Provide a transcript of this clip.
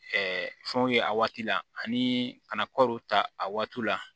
fɛnw ye a waati la ani ka na kɔɔriw ta a waati la